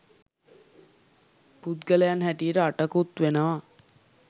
පුද්ගලයන් හැටියට අටකුත් වෙනවා.